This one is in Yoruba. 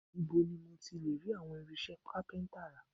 Ibo ni mo ti lè rí àwọn irinṣẹ́ kápíntà rà?